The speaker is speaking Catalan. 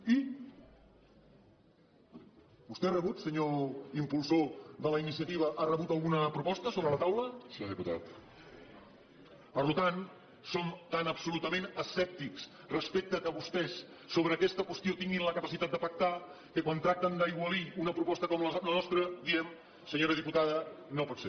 i vostè ha rebut senyor impulsor de la iniciativa alguna proposta sobre la taula per tant som tan absolutament escèptics respecte al fet que vostès sobre aquesta qüestió tinguin la capacitat de pactar que quan tracten d’aigualir una proposta com la nostra diem senyora diputada no pot ser